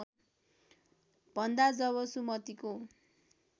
भन्दा जब सुमतिको